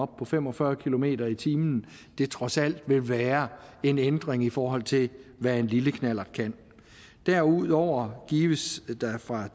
på fem og fyrre kilometer per time trods alt vil være en ændring i forhold til hvad en lille knallert kan derudover gives der